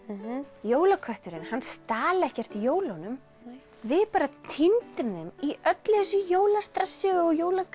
jólakötturinn hann stal ekkert jólunum nei við bara týndum þeim í öllu þessu jólastressi og